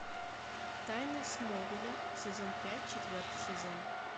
тайны смолвиля сезон пять четвертый сезон